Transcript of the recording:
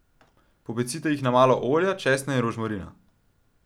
Popecite jih na malo olja, česna in rožmarina.